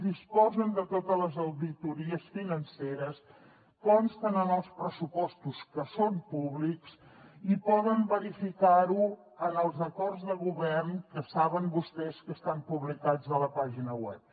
disposen de totes les auditories financeres consten en els pressupostos que són públics i poden verificar ho en els acords de govern que saben vostès que estan publicats a la pàgina web